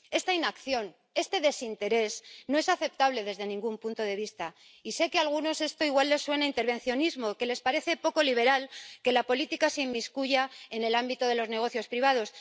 Esta inacción, este desinterés no es aceptable desde ningún punto de vista, y sé que a algunos esto igual les suena a intervencionismo, que les parece poco liberal que la política se inmiscuya en el ámbito de los negocios privados.